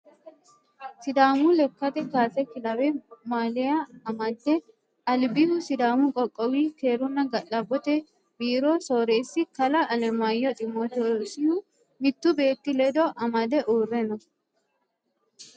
sidaamu lekkate kaase kilawe maaliya amade albihu sidaamu qoqqowi keerunna ga'labbote biiro soreessi kalaa alemaayyo ximootoosihu mittu beetti ledo amade uurre no